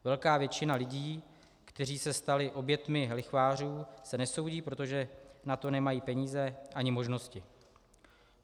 Velká většina lidí, kteří se stali oběťmi lichvářů, se nesoudí, protože na to nemají peníze ani možnosti.